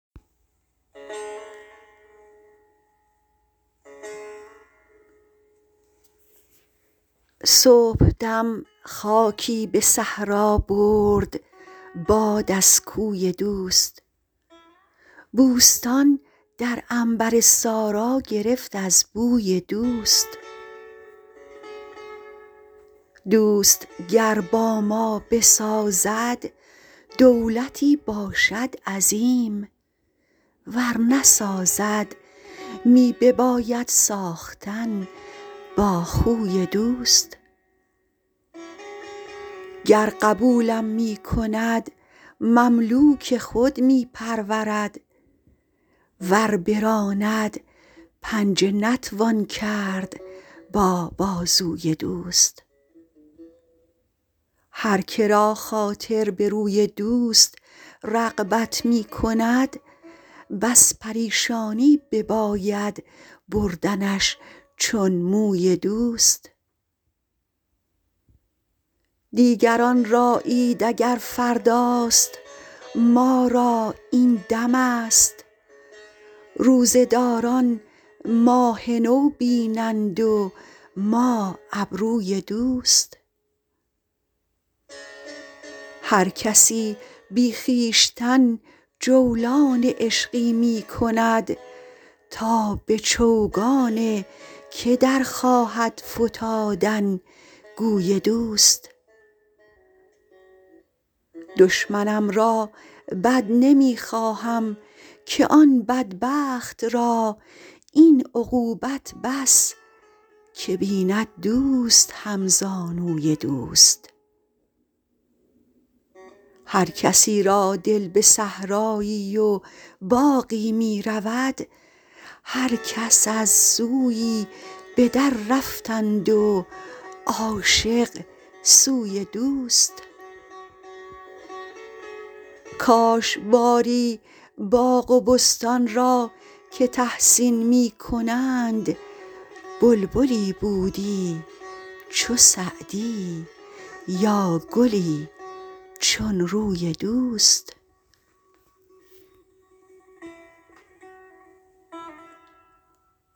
صبحدم خاکی به صحرا برد باد از کوی دوست بوستان در عنبر سارا گرفت از بوی دوست دوست گر با ما بسازد دولتی باشد عظیم ور نسازد می بباید ساختن با خوی دوست گر قبولم می کند مملوک خود می پرورد ور براند پنجه نتوان کرد با بازوی دوست هر که را خاطر به روی دوست رغبت می کند بس پریشانی بباید بردنش چون موی دوست دیگران را عید اگر فرداست ما را این دمست روزه داران ماه نو بینند و ما ابروی دوست هر کسی بی خویشتن جولان عشقی می کند تا به چوگان که در خواهد فتادن گوی دوست دشمنم را بد نمی خواهم که آن بدبخت را این عقوبت بس که بیند دوست همزانوی دوست هر کسی را دل به صحرایی و باغی می رود هر کس از سویی به دررفتند و عاشق سوی دوست کاش باری باغ و بستان را که تحسین می کنند بلبلی بودی چو سعدی یا گلی چون روی دوست